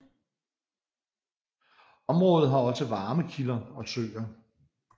Området har også varme kilder og søer